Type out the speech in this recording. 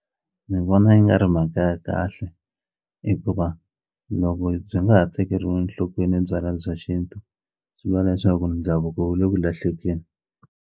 Ni vona yi nga ri mhaka ya kahle hikuva loko byi nga ha tekeriwi enhlokweni byala bya xintu swi vula leswaku ndhavuko wu le ku lahlekeli.